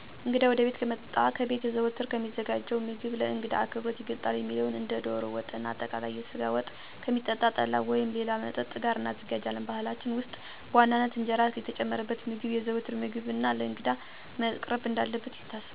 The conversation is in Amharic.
እንግዳ ወደቤት ከመጣ ከቤት ዘወትር ከሚዘጋጀው ምግብ ለእንግዳ አክብሮት ይገልጣል የሚባለውን እንደ ዶሮ ወጥና አጠቃለይ የስጋ ወጥ፣ ከሚጠጣ ጠላ ወይም ሌላ መጠጥ ጋር እናዘጋጃለን። በባህላችን ውስጥ በዋናነት እንጀራ የተጨመረበት ምግብ የዘዎትር ምግብና ለእንግዳም መቅረብ እንዳለበት ይታሰባል።